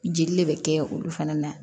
Jeli de bɛ kɛ olu fana na